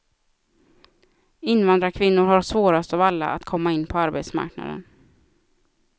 Invandrarkvinnor har svårast av alla att komma in på arbetsmarknaden.